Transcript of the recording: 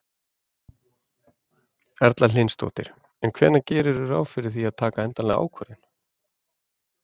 Erla Hlynsdóttir: En hvenær gerirðu ráð fyrir að taka endanlega ákvörðun?